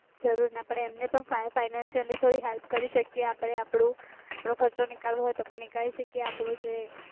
જરૂર ના પડે એમને પણ financially થોડી help કરી શકીએ આપણે આપણો ખર્ચો નીકળવો હોઈ તો પણ નિકાળી શકીએ, આપણો જે